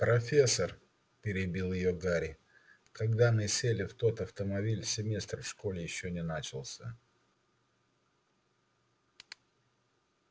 профессор перебил её гарри когда мы сели в тот автомобиль семестр в школе ещё не начался